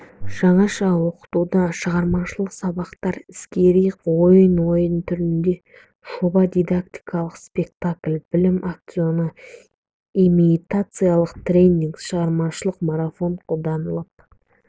жаңаша оқытуда шығармашылық сабақтар іскери ойын ойын түріндегі жоба дидактикалық спектакль білім аукционы имитациялық тренинг шығармашылық марафон қолданылып